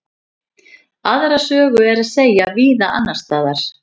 Aðra sögu er að segja víða annars staðar.